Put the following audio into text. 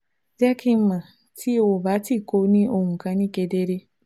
Jẹ ki n mọ ti o ba ti ko ni ohun kan ni kedere